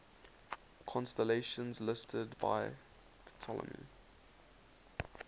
constellations listed by ptolemy